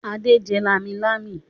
Adé jẹ lámilámi?